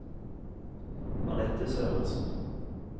Anette Sørensen